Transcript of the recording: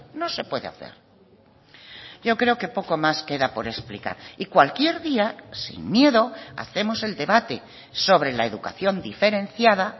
no se puede hacer yo creo que poco más queda por explicar y cualquier día sin miedo hacemos el debate sobre la educación diferenciada